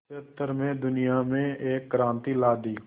क्षेत्र में दुनिया में एक क्रांति ला दी